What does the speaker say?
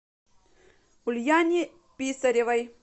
ульяне писаревой